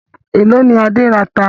Èló ni Adé rata?